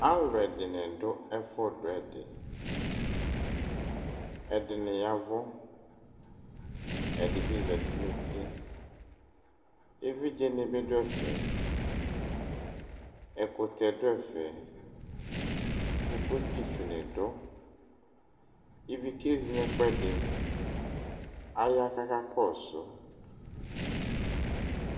Alʋ ɛdini dʋ ɛfʋdʋ ɛdi ɛdini ya ɛvʋ ɛdibi zati nʋ ʋti evidzeni bi dʋ ɛfɛ ɛkʋtɛ dʋ ɛfe kokositsʋ nidʋ ivi kezi nʋ ɛfʋ ɛdi aya kʋ aka kɔsʋ